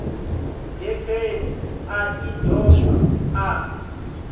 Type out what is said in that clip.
getheni a i doba a